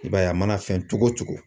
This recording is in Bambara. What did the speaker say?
I b'a ye a mana fɛn cogo o cogo.